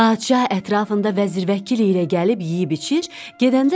Padşah ətrafında vəzir-vəkil ilə gəlib yeyib-içir.